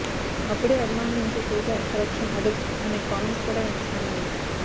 అప్పుడే అభిమానుల నుంచి తేజ సెలక్షన్ అదుర్స్ అనే కామెంట్స్ కూడా వినిపిస్తున్నాయి